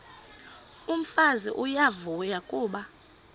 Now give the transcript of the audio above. umfazi uyavuya kuba